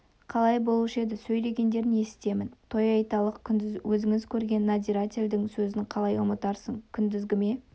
қалай болушы еді сөйлегендерін есітемін той айталық күндіз өзіңіз көрген надзирательдің сөзін қалай ұмытарсың күндізгі ме